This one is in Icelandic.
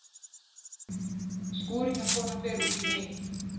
Skúringakona fer út í heim!